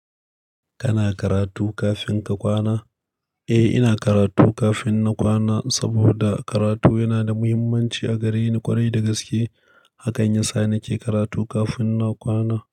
Kana karatu kafin ka kwana? Eh, ina karatu kafin na kwana saboda karatu yana da muhimmanci a gare ni ƙwarai da gaske. Hakan yasa nake karatu kafin na kwana.